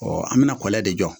an bɛna kɔlɔn de jɔ